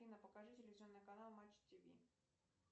афина покажи телевизионный канал матч тиви